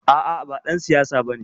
A'a ba ɗan siyasa bane.